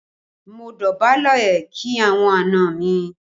Mo dọ̀bálẹ̀ kí àwọn àna mi